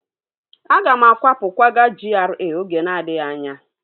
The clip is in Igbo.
Aga m akwapụ kwaga GRA oge na-adịghị anya